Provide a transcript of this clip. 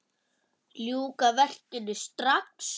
Ljúka verkinu strax!